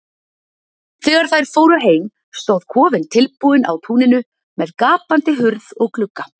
Þegar þær fóru heim stóð kofinn fullbúinn á túninu með gapandi hurð og glugga.